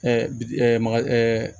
bi ɛ maga